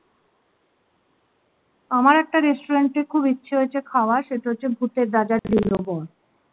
আমার একটা restaurant এ খুব ইচ্ছে হয়েছে খাওয়ার সেটা হচ্ছে ভূতের রাজা দিল বর